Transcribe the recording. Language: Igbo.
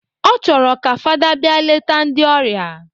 Ọ chọrọ ka fada bịa leta ndị ọrịa